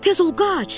Tez ol, qaç!